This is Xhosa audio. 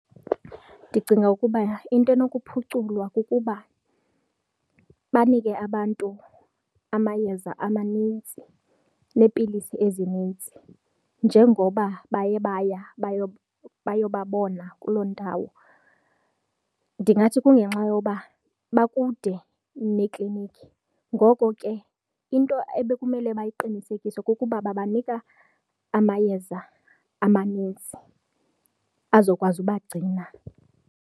Ndicinga ukuba into enokuphuculwa kukuba banike abantu amayeza amanintsi neepilisi ezinintsi njengoba baye baya bayobona kuloo ndawo. Ndingathi kungenxa yoba bakude neekliniki, ngoko ke into ebekumele bayiqinisekise kukuba babanika amayeza amaninzi azokwazi ubagcina.